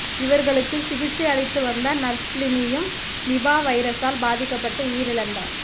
இவர்களுக்கு சிகிச்சை அளித்து வந்த நர்ஸ் லினியும் நிபா வைரசால் பாதிக்கப்பட்டு உயிர் இழந்தார்